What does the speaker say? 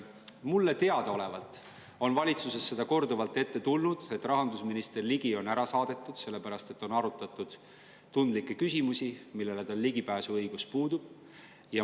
Mulle teadaolevalt on valitsuses seda korduvalt ette tulnud, et rahandusminister Ligi on ära saadetud, sest on arutatud tundlikke küsimusi, millele tal ligipääsuõigus puudub.